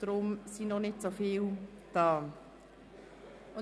Deshalb sind noch nicht so viele Ratsmitglieder anwesend.